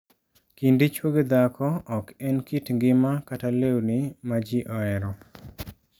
Kind dichwo gi dhako ok en kit ngima kata lewni ma ji ohero.